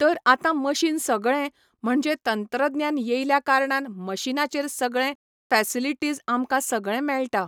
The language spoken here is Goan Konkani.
तर आतां मशीन सगळें, म्हणजे तंत्रज्ञान येयल्या कारणान मशिनाचेर सगळे फॅसिलिटीज आमकां सगळें मेळटा.